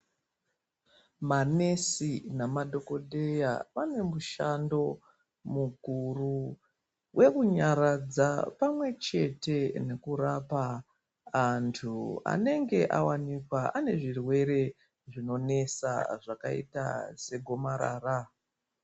MaNesi nemadhokodheya wane mushando mukuru wekunyaradza pamwechete nekurapa andu anenge awanikwa anezvirwere zvinonesa zvakaita segomarara.